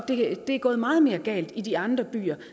det er gået meget mere galt i de andre byer